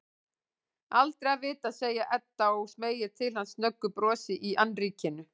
Aldrei að vita, segir Edda og smeygir til hans snöggu brosi í annríkinu.